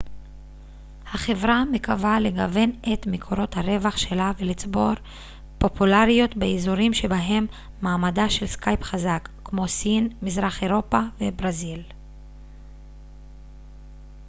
החברה מקווה לגוון את מקורות הרווח שלה ולצבור פופולריות באזורים שבהם מעמדה של סקייפ חזק כמו סין מזרח אירופה וברזיל